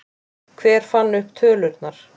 Hver fann upp tölurnar?